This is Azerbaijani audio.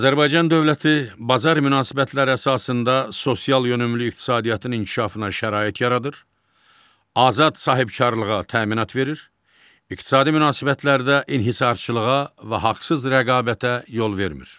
Azərbaycan dövləti bazar münasibətləri əsasında sosial yönümlü iqtisadiyyatın inkişafına şərait yaradır, azad sahibkarlığa təminat verir, iqtisadi münasibətlərdə inhisarçılığa və haqsız rəqabətə yol vermir.